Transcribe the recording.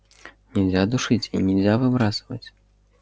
нельзя душить и нельзя выбрасывать